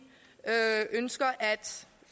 ønsker at